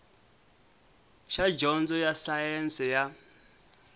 xa dyondzo ya sayense ya